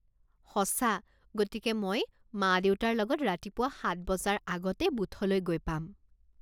সঁচা গতিকে মই মা দেউতাৰ লগত ৰাতিপুৱা সাত বজাৰ আগতে বুথলৈ গৈ পাম।